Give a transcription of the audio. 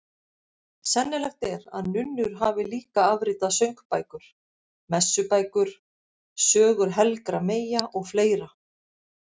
Sennilegt er að nunnur hafi líka afritað söngbækur, messubækur, sögur helgra meyja og fleira.